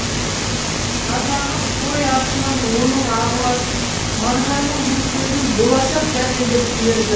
қазағы қой артынан оның ағылад мағжанның бұл сөзін болашақ дәлелдеп берді